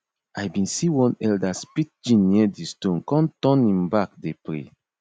i bin see one elder spit gin near di stone con turn him back dey pray